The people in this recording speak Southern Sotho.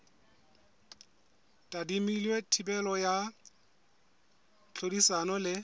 tadimilwe thibelo ya tlhodisano le